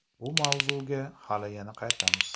Bu mavzuga hali yana qaytamiz.